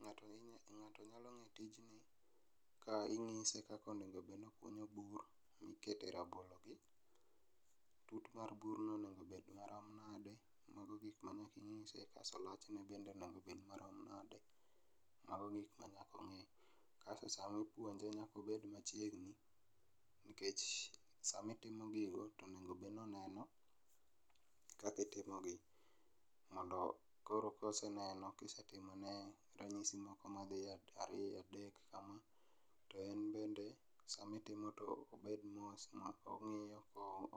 ng'ato nyalo ng'e tijni ka inyise kaka onego bed nokunyo bur mikete rabolo gi ,tutu mar burno onego bed marom nade mano mago gik manyaka inyise kasto lachne bende onego bed marom nade mago gik manyaka ong'e, kasto sama ipuonje nyaka obed machiegni nikech sami timo gigo tonego bed noneno kaki timogi mondo koro koseneno kisetimone ranyisi moko madhi ariyo adek kama ,to en bende sami timo to obed mos ma ong'iyo